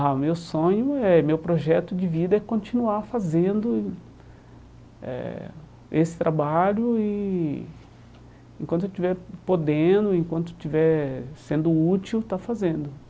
Ah, o meu sonho eh, meu projeto de vida é continuar fazendo eh esse trabalho e enquanto eu estiver podendo, enquanto eu estiver sendo útil, estar fazendo.